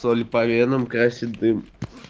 соль и по венам красит дым